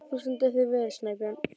Þú stendur þig vel, Snæbjörn!